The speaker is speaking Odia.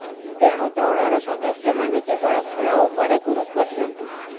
ତେଣୁ ଦଳର ସଦସ୍ୟମାନେ କେବଳ ଖେଳ ଉପରେ ଗୁରୁତ୍ୱ ଦିଅନ୍ତୁ